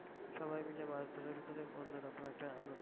সবাই মিলে মাছ ধরার ভিতরে অন্যরকম একটা আনন্দ।